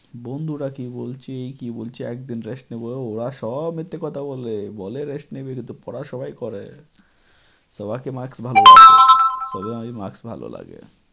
বন্ধুরা কী বলছে কী বলছে একদিন rest নিব, ওরা সব মিথ্যে কথা বলে। বলে rest নিবে কিন্তু পড়া সবাই করে। সবারকে marks ভালো তবে আমি marks ভালো লাগে।